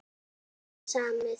Um hvað var ekki samið?